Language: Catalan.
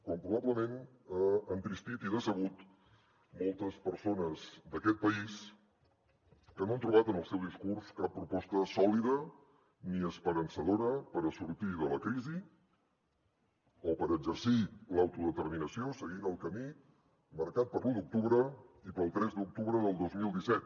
com probablement ha entristit i decebut moltes persones d’aquest país que no han trobat en el seu discurs cap proposta sòlida ni esperançadora per sortir de la crisi o per exercir l’autodeterminació seguint el camí marcat per l’un d’octubre i pel tres d’octubre del dos mil disset